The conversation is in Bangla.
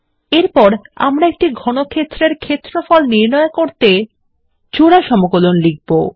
এরপর আমরা একটি ঘনক্ষেত্রের ক্ষেত্রফল নির্ণয় করার জন্য জোড়া সমকলন লিখব